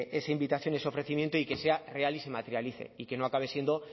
esa invitación y ese ofrecimiento y que sea real y se materialice y que no acabe siendo